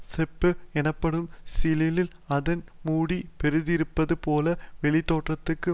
செப்பு எனப்படும் சிமிழில் அதன் மூடி பொருந்தியிருப்பது போல வெளித்தோற்றத்துக்கு